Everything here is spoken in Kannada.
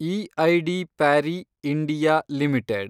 EID Parry (India) limited